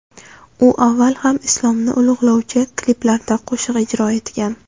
U avval ham islomni ulug‘lovchi kliplarda qo‘shiq ijro etgan.